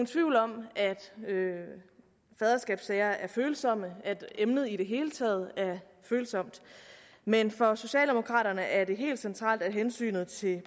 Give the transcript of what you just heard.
tvivl om at faderskabssager er følsomme og at emnet i det hele taget er følsomt men for socialdemokraterne er det helt centralt at hensynet til